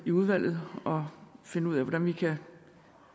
i udvalget og finde ud af hvordan vi